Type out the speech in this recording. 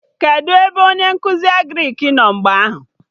Kedụ ebe onye nkụzi Agrịk nọ mgbe ahụ?